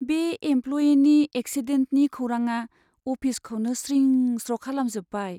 बे एमप्ल'यिनि एक्सिडेन्टनि खौराङा अफिसखौनो स्रिं स्र' खालामजोब्बाय।